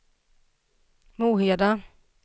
Moheda